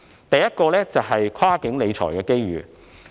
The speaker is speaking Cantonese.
第一，是跨境理財的機遇。